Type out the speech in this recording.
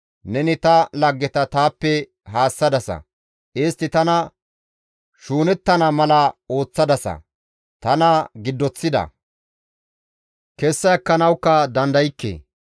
Neni ta laggeta taappe haassadasa; istti tana shuunettana mala ooththadasa; tana giddoththida; kessa ekkanawukka dandaykke.